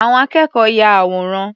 Àwọn akẹ́kọ̀ọ́ ya àwòrán.